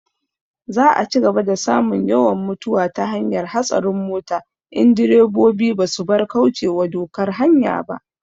Za a cigaba da samun yawan mutuwa ta hanyar hatsarin mota in direbobi ba su bar kaucewa dokar hanya ba